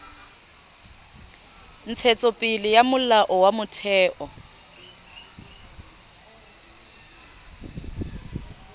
ntshetsopele ya molao wa motheo